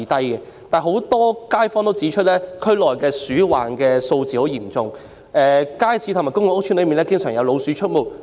然而，有不少該區居民指出，區內鼠患嚴重，街市及公共屋邨內經常有老鼠出沒。